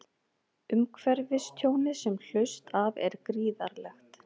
Umhverfistjónið sem hlaust af er gríðarlegt